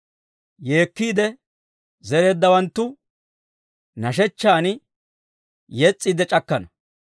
Yeekkiide zereeddawanttu, nashshechchan yes's'iidde c'akkana.